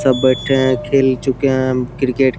सब बैठे हैं खेल चुके हैं क्रिकेट --